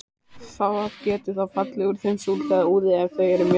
Það getur þó fallið úr þeim súld eða úði ef þau eru mjög þykk.